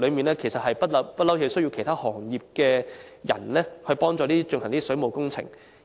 事實上，整個行業一直需要其他行業的工人協助進行水務工程。